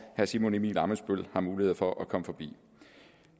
herre simon emil ammitzbøll har mulighed for at komme forbi